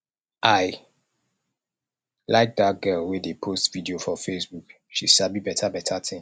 i like dat girl wey dey post video for facebook she sabi beta beta thing